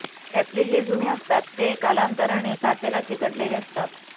त्यातले जे जुने असतात ते कालांतरानी काचेला चिकटलेले असतात